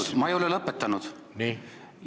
Vabandust, aga ma ei ole lõpetanud!